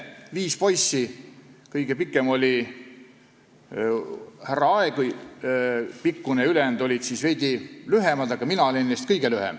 Viis poissi, kõige pikem oli härra Aegi pikkune, ülejäänud olid veidi lühemad, aga mina olin neist kõige lühem.